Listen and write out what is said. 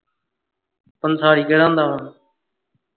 ਪੰਸਾਰੀ ਕਿਹੜਾ ਹੁੰਦਾ ਵਾਂ?